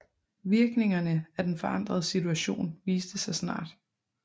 Virkningerne af den forandrede situation viste sig snart